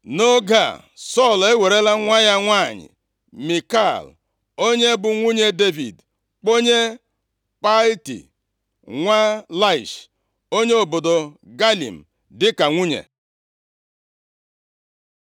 Nʼoge a, Sọl ewerela nwa ya nwanyị Mikal, onye bụ nwunye Devid kpọnye Palti, nwa Laish, onye obodo Galim, dịka nwunye.